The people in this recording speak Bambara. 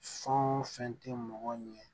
Fɛn o fɛn tɛ mɔgɔ ɲɛ